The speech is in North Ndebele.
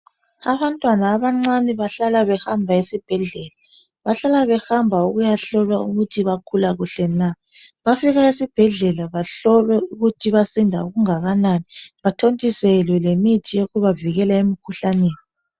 Abantwana abancane bahlala behamba esibhedlela bahlala behamba ukuyahlolwa ukuthi bagula kuhle na bafika esibhedlela bahlolwe ukuthi basinda okungakanani bathontiselwe lemithi yokubavikela emikhuhlaneni.